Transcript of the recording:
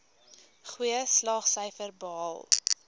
goeie slaagsyfers behaal